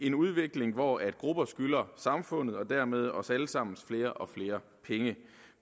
en udvikling hvor grupper skylder samfundet og dermed os alle sammen flere og flere penge